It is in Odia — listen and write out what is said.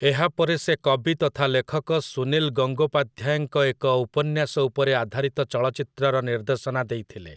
ଏହାପରେ ସେ କବି ତଥା ଲେଖକ ସୁନୀଲ ଗଙ୍ଗୋପାଧ୍ୟାୟଙ୍କ ଏକ ଉପନ୍ୟାସ ଉପରେ ଆଧାରିତ ଚଳଚ୍ଚିତ୍ରର ନିର୍ଦ୍ଦେଶନା ଦେଇଥିଲେ ।